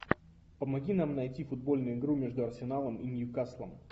помоги нам найти футбольную игру между арсеналом и ньюкаслом